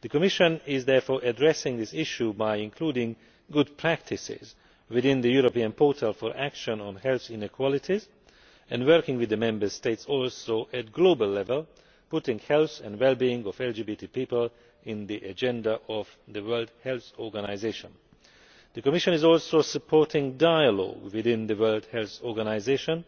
The Commission is therefore addressing this issue by including good practices within the European Portal for Action on Health Inequalities and working with the Member States and also at global level, putting the health and well being of LGBT people in the agenda of the World Health Organisation. The Commission is also supporting dialogue within the World Health Organisation